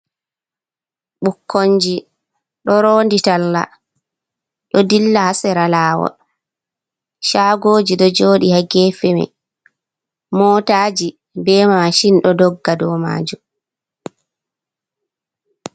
Ɓukkonji ɗo roondi talla, ɗo dilla haa sera laawol, caagooji ɗo jooɗi haa geefe may, mootaaji be maacin, ɗo dogga dow maajum.